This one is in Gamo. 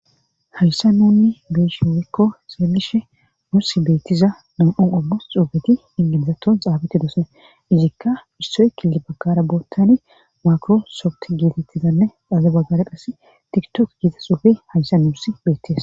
hayssa nuunni beeshiwekko seebishe muss beettiza nam7on ommos xufeti ingamzaton xaabeti doosane izikka issoyekile baggara boottani maakrosoft gietettizanne dhaze baggare qassi tiktok giita xuufe hayssa nuuss beettiza